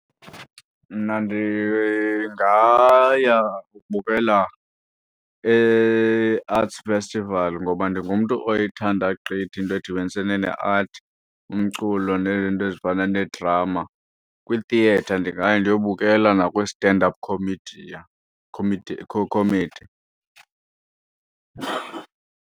Mna ndingaya ukubukela i-Arts Festival ngoba ndingumntu oyithanda gqithi into edibenisene ne-art, umculo nezinto ezifana nedrama. Kwi-theatre ndingaya ndiyobukela nakwi-stand up comedia comedy.